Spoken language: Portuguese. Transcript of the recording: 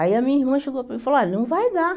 Aí a minha irmã chegou e falou, olha, não vai dar.